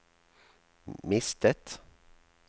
mistet